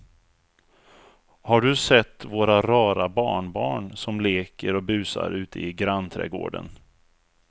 Har du sett våra rara barnbarn som leker och busar ute i grannträdgården!